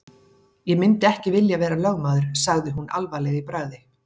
Ég myndi ekki vilja vera lögmaður sagði hún alvarleg í bragði.